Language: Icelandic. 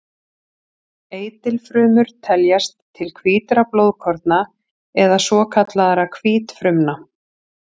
Eitilfrumur teljast til hvítra blóðkorna eða svokallaðra hvítfrumna.